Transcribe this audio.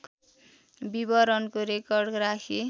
विवरणको रेकर्ड राखी